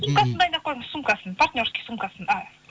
сумкасын дайындап қойыңыз сумкасын партнерский сумкасын